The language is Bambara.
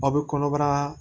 Aw bɛ kɔnɔbara